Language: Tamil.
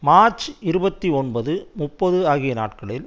மார்ச் இருபத்தி ஒன்பது முப்பது ஆகிய நாட்களில்